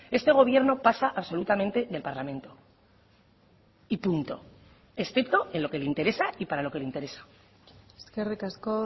este gobierno pasa absolutamente del parlamento y punto excepto en lo que le interesa y para lo que le interesa eskerrik asko